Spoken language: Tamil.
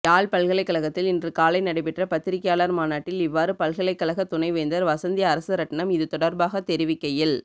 யாழ் பல்கலைக்கழகத்தில் இன்று காலை நடைபெற்ற பத்திரிகையாளர் மாநாட்டில் இவ்வாறு பல்கலைக்கழக துணைவேந்தர் வசந்தி அரசரட்ணம் இது தொடர்பாக தெரிவிக்கையில்